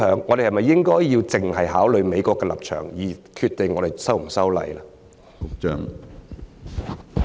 我們應否只考慮美國的立場，而決定是否修例？